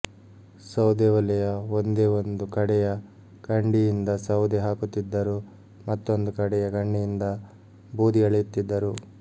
ಸೌದೆ ಒಲೆಯ ಒಂದೇ ಒಂದು ಕಡೆಯ ಕಂಡಿಯಿಂದ ಸೌದೆ ಹಾಕುತ್ತಿದ್ದರು ಮತ್ತೊಂದು ಕಡೆಯ ಕಂಡಿಯಿಂದ ಬೂದಿ ಎಳೆಯುತ್ತಿದ್ದರು